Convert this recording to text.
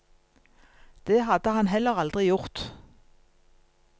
Det hadde han heller aldri gjort.